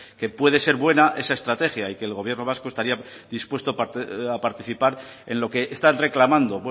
que puede ser buena esa estrategia y que el gobierno vasco estaría dispuesto a participar en lo que están reclamando